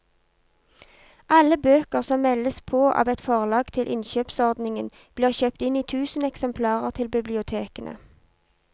Alle bøker som meldes på av et forlag til innkjøpsordningen blir kjøpt inn i tusen eksemplarer til bibliotekene.